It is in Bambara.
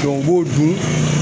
u b'o dun